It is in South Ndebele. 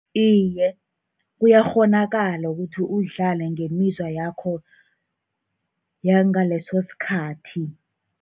Iye, kuyakghonakala ukuthi udlale ngemizwa yakho yangaleso sikhathi.